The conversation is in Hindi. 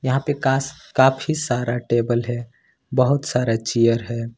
काफी सारा टेबल है बहुत सारा चेयर है।